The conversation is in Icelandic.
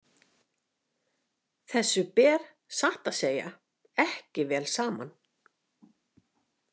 Þessu ber satt að segja ekki vel saman.